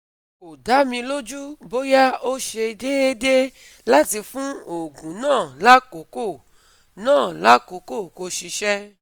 Ko da mi loju boya o se deede lati fun oogun na lakoko na lakoko ko sise